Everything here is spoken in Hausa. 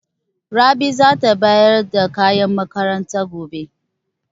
Rabi za ta bayar da kayan makaranta gobe.